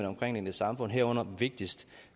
omkringliggende samfund herunder vigtigst at